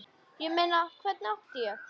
Ég meina, hvernig átti ég.?